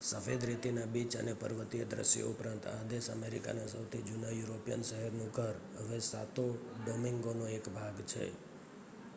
સફેદ રેતીના બીચ અને પર્વતીય દ્રશ્યો ઉપરાંત, આ દેશ અમેરિકાના સૌથી જૂના યુરોપિયન શહેરનું ઘર, હવે સાતો ડોમિન્ગોનો એક ભાગ છે